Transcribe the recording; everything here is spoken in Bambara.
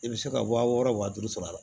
I bɛ se ka wa wɔɔrɔ wa duuru sɔrɔ a la